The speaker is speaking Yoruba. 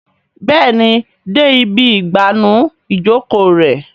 Béèni dé ibí igbanu Ìjoko rẹ.